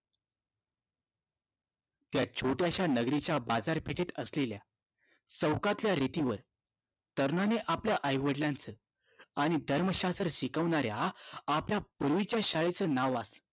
त्या छोट्याशा नगरीच्या बाजारपेठेत असलेल्या चौकातल्या रेतीवर तरुणाने आपल्या आई-वडिलांचं आणि धर्मशास्त्र शिकवणाऱ्या आपल्या पूर्वीच्या शाळेचं नाव वाचलं.